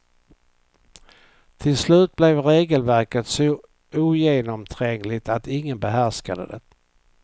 Till slut blev regelverket så ogenomträngligt att ingen behärskade det.